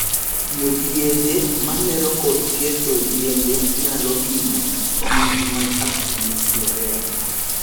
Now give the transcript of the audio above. Tiyo gi yedhe mamero kod ketho yiende nyalo hinyo kich mag Apis florea.